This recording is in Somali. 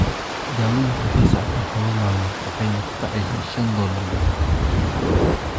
Daaweyntu waxay socotaa tobaan maalmood waxayna ku kacaysaa shan dollar bukaankiiba.